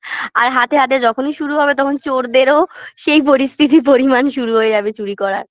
আর হাতে হাতে যখনই শুরু হবে তখন চোরদেরও সেই পরিস্থিতি পরিমাণ শুরু হয়ে যাবে চুরি করার